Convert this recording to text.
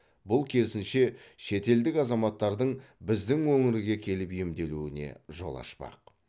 бұл керісінше шетелдік азаматтардың біздің өңірге келіп емделуіне жол ашпақ